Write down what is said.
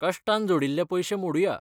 कश्टान जोडिल्लें पयशें मोडुया.